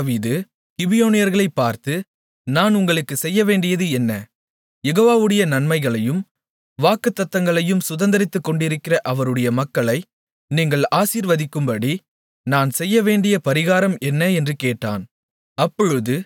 ஆகையால் தாவீது கிபியோனியர்களைப் பார்த்து நான் உங்களுக்குச் செய்யவேண்டியது என்ன யெகோவாவுடைய நன்மைகளையும் வாக்குத்தத்தங்களையும் சுதந்திரத்துக்கொண்டிருக்கிற அவருடைய மக்களை நீங்கள் ஆசீர்வதிக்கும்படி நான் செய்யவேண்டிய பரிகாரம் என்ன என்று கேட்டான்